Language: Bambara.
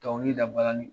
Dɔnkili dabalan